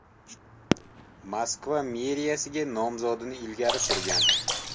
Moskva meriyasiga nomzodini ilgari surgan.